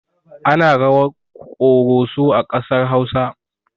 Ana rawar ƙoroso a ƙasar hausa